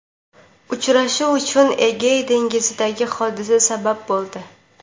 Uchrashuv uchun Egey dengizidagi hodisa sabab bo‘ldi.